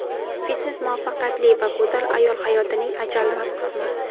Fitnes muvaffaqiyatli va go‘zal ayol hayotining ajralmas qismi.